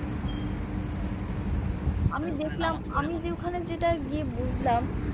আমি যে ওখানে যেটা গিয়ে বুঝলাম